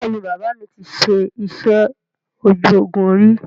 Bẹ́ẹ̀ni, bàbà mi ti ṣe iṣẹ́ ojú ogún ríi